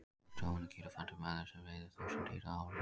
Helsti óvinur gíraffans er maðurinn sem veiðir þúsundir dýra árlega.